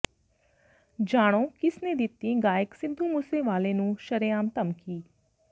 ਜਾਣੋ ਕਿਸ ਨੇ ਦਿੱਤੀ ਗਾਇਕ ਸਿੱਧੂ ਮੂਸੇਵਾਲੇ ਨੂੰ ਸ਼ਰੇਆਮ ਧਮਕੀ